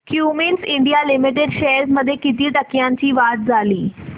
Cummins India limited shares मध्ये किती टक्क्यांची वाढ झाली